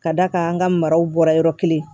Ka d'a kan an ka maraw bɔra yɔrɔ kelen